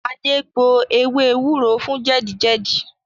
Ade gbo ewé ewúro fún jẹ̀dí jẹ̀jí